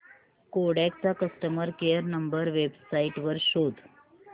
Kodak चा customer care number website वर शोध